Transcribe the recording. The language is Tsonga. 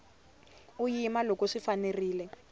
u yima loko swi fanerile